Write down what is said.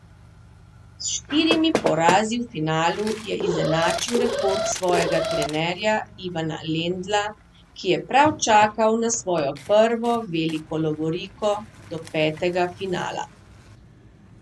S štirimi porazi v finalu je izenačil rekord svojega trenerja Ivana Lendla, ki je prav čakal na svojo prvo veliko lovoriko do petega finala.